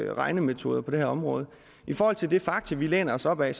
regnemetoder på det her område i forhold til de fakta vi læner os op ad